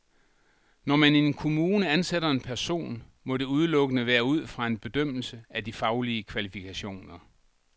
Når man i en kommune ansætter en person, må det udelukkende være ud fra en bedømmelse af de faglige kvalifikationer.